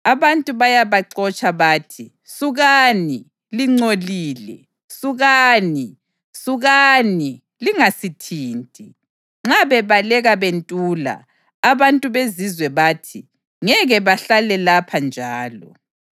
Abantu bayabaxotsha bathi, “Sukani! Lingcolile! Sukani! Sukani! Lingasithinti!” Nxa bebaleka bentula, abantu bezizwe bathi, “Ngeke bahlale lapha njalo.”